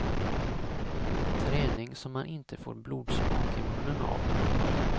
Träning som man inte får blodsmak i munnen av.